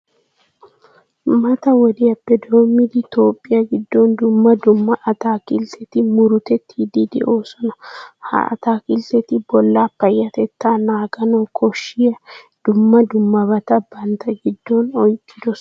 Mata wodiyappe doommidi Toophphiya giddon dumma dumma ataakiltteti murutettiiddi de'oosona. Ha ataakiltteti bollaa payyatettaa naaganawu koshshiya dumma dummabata bantta giddon oyqqidosona.